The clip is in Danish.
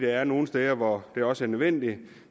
er nogle steder hvor det også er nødvendigt